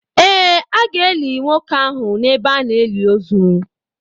Ee, a ga-eli nwoke ahụ n’ebe a na-eli ozu.